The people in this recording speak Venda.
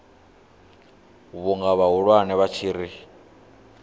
vhunga vhahulwane vha tshi ri